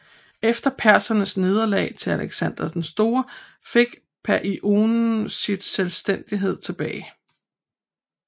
Efter persernes nederlag til Alexander den store fik Paionien sin selvstændighed tilbage